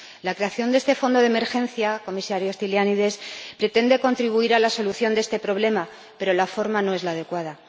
La creación de este fondo de emergencia, Comisario Stylianides, pretende contribuir a la solución de este problema, pero la forma no es la adecuada.